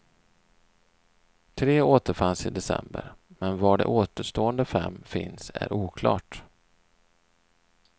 Tre återfanns i december, men var de återstående fem finns är oklart.